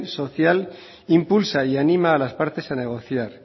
social impulsa y anima a las partes a negociar